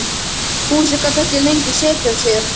Fúsi gat ekki lengur setið á sér.